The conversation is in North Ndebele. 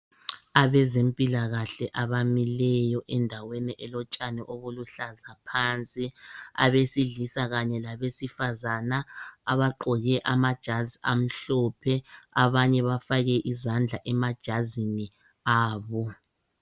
Abezempilakahle abamileyo endaweni elotshani obuluhlaza phansi abesilisa kanye labesifazana abagqoke amajazi amhlophe abanye bafake izandla emajazini abo